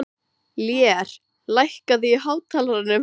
Lér, lækkaðu í hátalaranum.